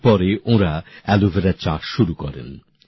এরপরে ওঁরা অ্যালোভেরা চাষ শুরু করেন